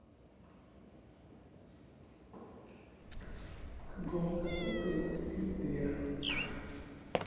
в каком году появился фильм вверх